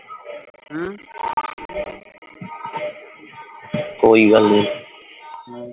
ਕੋਈ ਗੱਲ ਨਹੀਂ